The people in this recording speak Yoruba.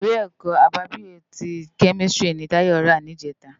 Iwé èkò ábábiyó ti kèmistiri ni Tayo rá nijètá